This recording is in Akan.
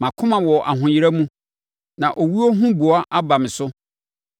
Mʼakoma wɔ ahoyera mu; na owuo huboa aba me so.